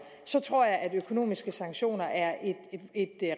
så tror jeg at økonomiske sanktioner er et